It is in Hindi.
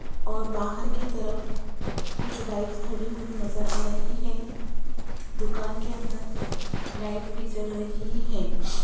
और बाहर की तरफ कुछ बाइक खड़ी हुई नजर आ रही है दुकान के अंदर लाइट भी जल रही है।